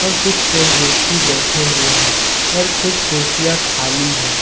कुछ पे व्यक्ति बैठे हुए हैं और कुछ कुर्सियां खाली है।